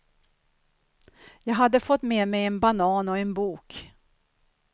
Jag hade fått med mig en banan och en bok.